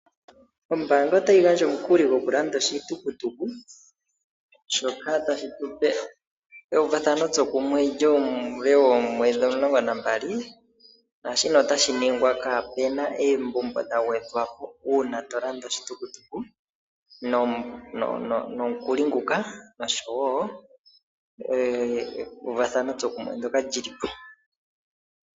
Ombaanga ota yigandja omukuli gwo kulanda oshitukutuku shoka tashi tupe euvathano tsokumwe lyuule womwedhi omulongo nambali. Naashino ota shiningwa kaapena oombumbo dha gwedhwapo uuna tolanda oshitukutuku nomukuli nguka nosho woo euvathano tsokumwe ndyoka lyi lipo.